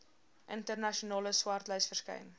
internasionale swartlys verskyn